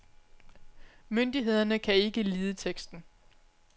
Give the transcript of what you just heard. Myndighederne kan ikke lide teksten.